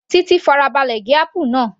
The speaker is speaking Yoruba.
Titi farabalẹ̀ gé apple náà